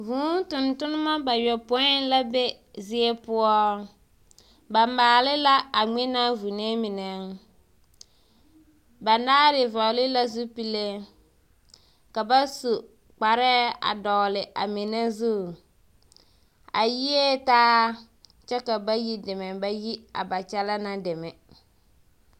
Vŭŭ tontonnema bayɔpoĩ la be zie poɔ. Ba maale la a ŋmenaa vunee menɛŋ. Banaare vɔgle la zupille, ka ba su kparɛɛ a dɔgele a menɛ zu. A yie taa kyɛ ka bayi deme ba yi a ba kyɛlɛɛ na deme.